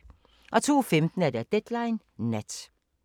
02:15: Deadline Nat